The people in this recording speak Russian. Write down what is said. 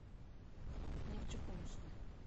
нефтекумску